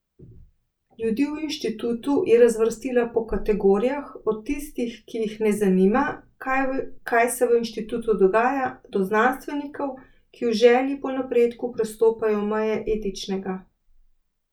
Ljudi v inštitutu je razvrstila po kategorijah, od tistih, ki jih ne zanima, kaj se v inštitutu dogaja, do znanstvenikov, ki v želji po napredku prestopajo meje etičnega.